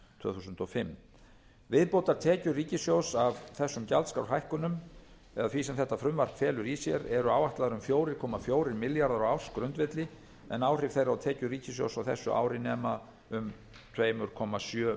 tvö þúsund og fimm viðbótartekjur ríkissjóðs af þessum gjaldskrárhækkunum eða því sem þetta frumvarp felur í sér eru áætlaðar um fjóra komma fjóra milljarða á ársgrundvelli en áhrif þeirra á tekjur ríkissjóðs á þessu ári nema um tvö komma sjö